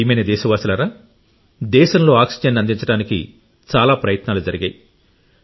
నా ప్రియమైన దేశవాసులారా దేశంలో ఆక్సిజన్ అందించడానికి చాలా ప్రయత్నాలు జరిగాయి